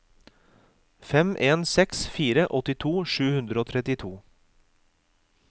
fem en seks fire åttito sju hundre og trettito